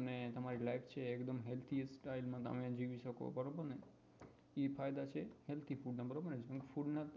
અને તમારી life છે એ healthy રીતે જવી શકો બરોબર ને એ ફાયદા છે healthy food ના બરોબર ને junk food માં